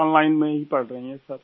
online में ही पढ़ रहीं हैं सर